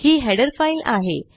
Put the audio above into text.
ही header file आहे